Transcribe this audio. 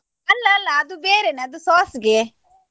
ಅಲ್ಲ ಅಲ್ಲ ಅದು ಬೇರೆನೇ ಅದು sauce ಗೆ.